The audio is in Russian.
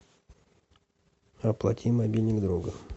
оплати мобильник друга